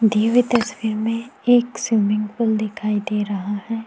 दी हुई तस्वीर में एक स्विमिंग पूल दिखाई दे रहा है।